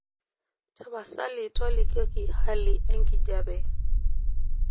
tapasali tolikioki hali enkijape